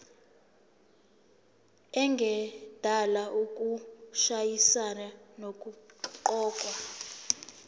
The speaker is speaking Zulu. engadala ukushayisana nokuqokwa